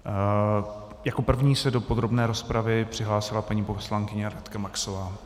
Jako první se do podrobné rozpravy přihlásila paní poslankyně Radka Maxová.